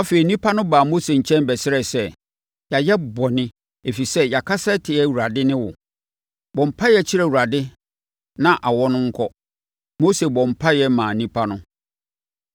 Afei, nnipa no baa Mose nkyɛn bɛsrɛɛ sɛ, “Yɛayɛ bɔne, ɛfiri sɛ, yɛakasa atia Awurade ne wo. Bɔ mpaeɛ kyerɛ Awurade na awɔ no nkɔ.” Mose bɔɔ mpaeɛ maa nnipa no.